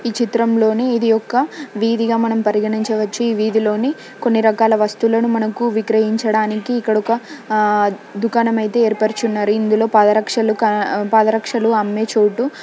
ఈ చిత్రంలోని ఇది ఒక వీధిగా మనం పరిగణించవచ్చు ఈ వీధిలోని కొన్ని రకాల వస్తువులను మనకు విక్రయించడానికి ఇక్కడ ఒక ఆ దుకాణం అయితే ఏర్పరచి ఉన్నరు అందులో పాదరక్షలు పాదరక్షలు అమ్మే చోటు.